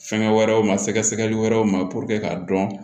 Fɛnkɛ wɛrɛw ma sɛgɛsɛgɛli wɛrɛw ma k'a dɔn